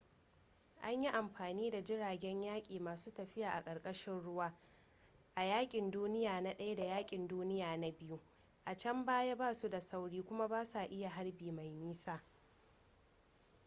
an yi amfani da jiragen yaƙi masu tafiya a ƙarƙashin ruwa a yaƙin duniya na i da yaƙin duniya na ii a can baya ba su da sauri kuma ba su iya harbi mai nisa